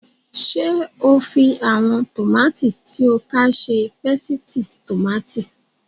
Ṣé o fi àwọn tòmátì tí o ká ṣe pésìtì tòmátì?